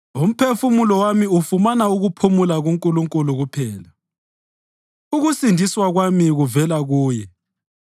Umphefumulo wami ufumana ukuphumula kuNkulunkulu kuphela; ukusindiswa kwami kuvela kuye.